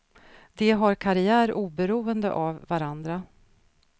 De har karriär oberoende av varandra.